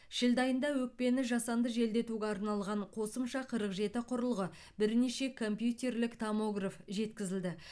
шілде айында өкпені жасанды желдетуге арналған қосымша қырық жеті құрылғы бірнеше компьютерлік томограф жеткізілді